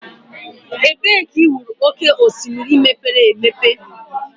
Ebee ka ị hụrụ oké osimiri mepere emepe?